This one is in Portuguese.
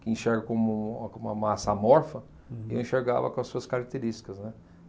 que enxerga como um como uma massa amorfa, eu enxergava com as suas características, né.